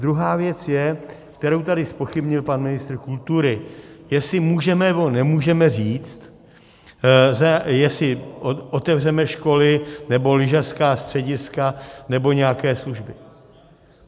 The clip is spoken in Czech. Druhá věc je, kterou tady zpochybnil pan ministr kultury, jestli můžeme, nebo nemůžeme říct, jestli otevřeme školy nebo lyžařská střediska nebo nějaké služby.